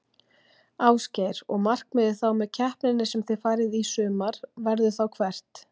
Ásgeir: Og markmiðið þá með keppninni sem þið farið í sumar, verður þá hvert?